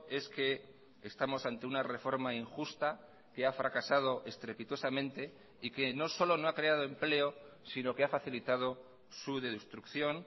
es que estamos ante una reforma injusta que ha fracasado estrepitosamente y que no solo no ha creado empleo sino que ha facilitado su destrucción